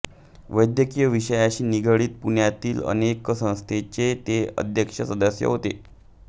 वैद्यकीय विषयाशी निगडित पुण्यातील अनेक संस्थांचे ते अध्यक्ष सदस्य होते